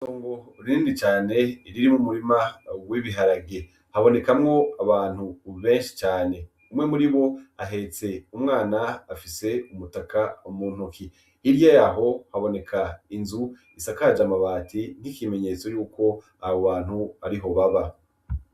Itongo rinini cane ririmw'umurima w'ibiharage habonekamwo abantu benshi cane. Umwe muri bo ahetse umwana , afise umutaka mu ntoke .Hirya yaho haboneka inzu isakaj'amabati n'ikimenyetso yuko abo bantu ariho baba.